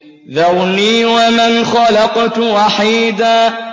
ذَرْنِي وَمَنْ خَلَقْتُ وَحِيدًا